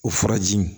O furajiw